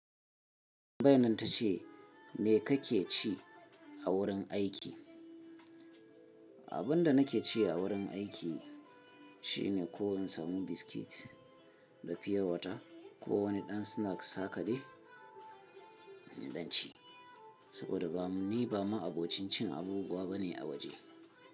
Tambayinan ta ce, me kake ci a wurin aiki? Abin da nake ci a wurin aiki shine ko in samu biskit da fiya wata ko wani ɗan snacks haka dai in ci, saboda ni ba ma abokin cin abubuwa bane a waje.